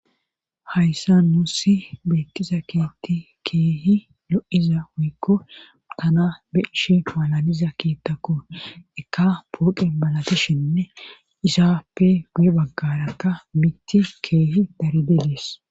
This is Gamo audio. hayssa nuussi beettiza keti keehi lo7iza hoykko tana beishi malaliza kiittakko ekka pooqe balatishinne izaappe guye baggarata mitti keehi darid dees